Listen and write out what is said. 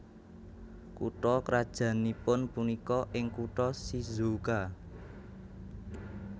Kutha krajannipun punika ing kutha Shizuoka